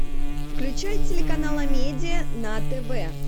включай телеканал амедиа на тв